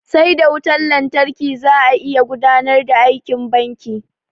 Sai da wutan lantarki za a iya gudanar da aikin banki.